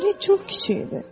Planet çox kiçik idi.